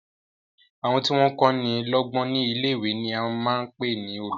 Àwọn tí wọ́n kọ́ni lọ́gbọ́n ní ilé-ìwé ni à ń pè ní olùkọ́.